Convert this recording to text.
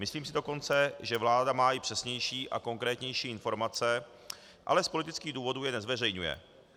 Myslím si dokonce, že vláda má i přesnější a konkrétnější informace, ale z politických důvodů je nezveřejňuje.